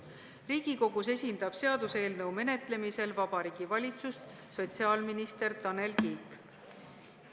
Riigikogus esindab seaduseelnõu menetlemisel Vabariigi Valitsust sotsiaalminister Tanel Kiik.